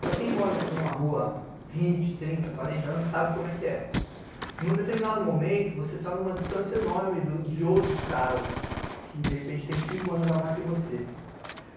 Para quem mora numa rua há vinte, trinta, quarenta anos, sabe como é que é. Num determinado momento, você tá numa distância enorme de outros caras que, de repente, têm cinco anos a mais que você.